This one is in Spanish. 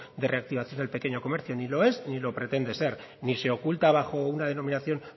de reactivación del pequeño comercio ni lo es ni lo pretende ser ni se oculta bajo una denominación